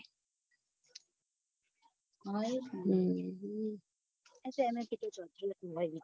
હા એજ ને